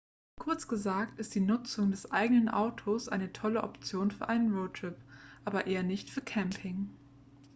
kurz gesagt ist die nutzung des eigenen autos eine tolle option für einen roadtrip aber eher nicht für camping